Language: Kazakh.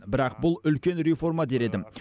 бірақ бұл үлкен реформа дер едім